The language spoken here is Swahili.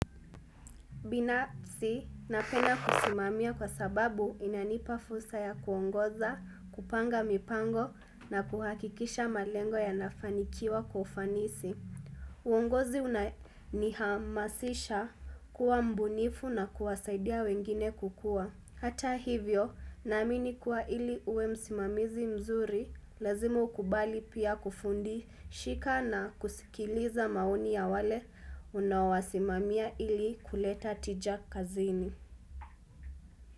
Binapsi napenda kusimamia kwa sababu inanipafulsa ya kuongoza, kupanga mipango na kuhakikisha malengo ya nafanikiwa kwa ufanisi. Uongozi unanihamasisha kuwa mbunifu na kuwasaidia wengine kukua. Hata hivyo, naamini kuwa ili uwe msimamizi mzuri, lazima ukubali pia kufundi shika na kusikiliza maoni ya wale unaowasimamia ili kuleta tija kazini.